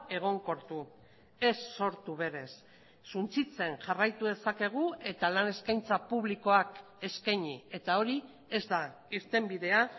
egonkortu ez sortu berez suntsitzen jarraitu dezakegu eta lan eskaintza publikoak eskaini eta hori ez da irtenbidea